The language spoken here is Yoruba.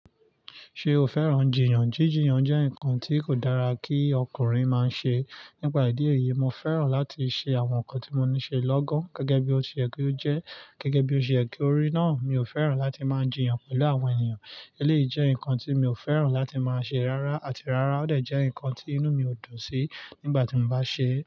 Ṣé o fẹ́ràn jiyàn? Jíjiyàn jẹ́ nǹkan tí kò dára kí ọkùnrin máa ṣe. Nípa ìdí èyí, mo fẹ́ràn láti ṣe àwọn nǹkan tí mo ní ṣe lọ́gán gẹ́gẹ́ bí ó ṣe yẹ ki o jẹ́ gẹ́gẹ́ bí ó ṣe èyí kí orí náà. Mi ò fẹ́ràn láti máa jìyàn pẹ̀lú àwọn ènìyàn. Eléyìí jẹ́ nǹkan tí mi ò fẹ́ràn láti máa ṣe rárá àti rárá ó dè jẹ́ nǹkan tí inú mi ó dùn sí nígbà tí mo bá ṣe é.